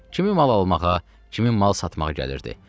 Kimim mal almağa, kimin mal satmağa gəlirdi.